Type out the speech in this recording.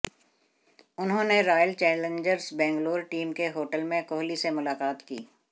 उन्होंने Royal Challengers Bangalore team के hotel में कोहली से मुलाकात की